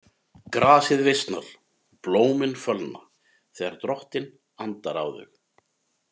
Grasið visnar, blómin fölna, þegar Drottinn andar á þau.